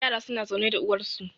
yara suna zaune da uwarsu